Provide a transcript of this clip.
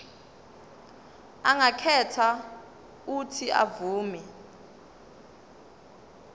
angakhetha uuthi avume